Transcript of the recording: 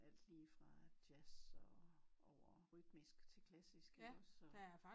Alt lige fra jazz og over rytmisk til klassisk iggås så